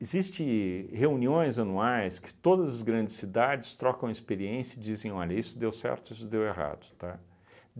Existe reuniões anuais que todas as grandes cidades trocam experiência e dizem, olha, isso deu certo, isso deu errado, tá?